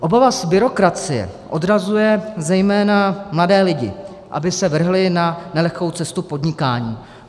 Obava z byrokracie odrazuje zejména mladé lidi, aby se vrhli na nelehkou cestu podnikání.